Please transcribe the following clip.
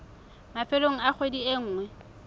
mafelong a kgwedi e nngwe